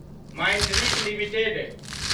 माइंडरीज limited